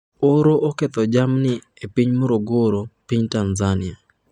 Oro oketho jamni e piny Morogoro, piny Tanzania